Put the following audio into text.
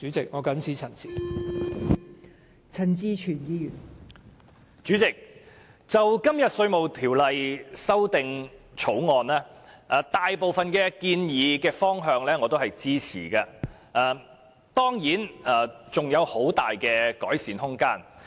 代理主席，我對《2018年稅務條例草案》大部分建議的方向都是支持的，但當然尚有很大的改善空間。